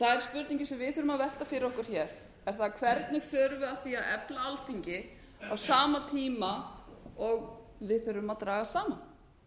það er spurningin sem við þurfum að velta fyrir okkur hvernig förum við að því að efla alþingi á sama tíma og við þurfum að draga saman